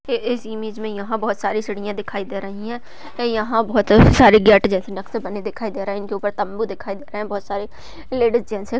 इस इमेज में यहाँ बहुत सारी सीढ़िया दिखाई दे रही है यहाँ बहुत सारे जेट जैसे नक्से दिखाई दे रहे है इनके ऊपर तम्बू दिखाई दे रहे है बहुत सारे लेडीज जेंट्स --